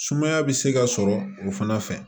Sumaya bɛ se ka sɔrɔ o fana fɛ